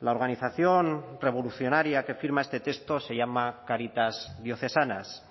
la organización revolucionaria que firma este texto se llama cáritas diocesanas